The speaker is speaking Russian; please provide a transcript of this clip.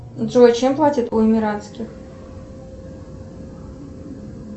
джой чем платят у эмиратских